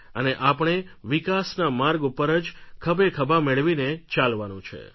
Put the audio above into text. અને આપણે વિકાસના માર્ગ ઉપર જ ખભેખભા મેળવીને ચાલવાનું છે